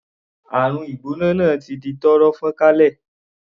Àrùn ìgbóná náà ti di tọ́rọ́ fọ́nkálé.